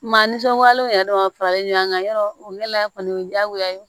Maa nisɔndiyalenw yɛrɛ dama faralen ɲɔgɔn kan yɔrɔ la kɔni o ye diyagoya ye